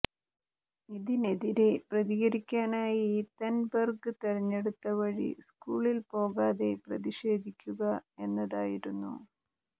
ഇതിനെതിരെ പ്രതികരിക്കാനായി തൻബെർഗ് തെരഞ്ഞെടുത്ത വഴി സ്കൂളിൽ പോകാതെ പ്രതിഷേധിക്കുക എന്നതായിരുന്നു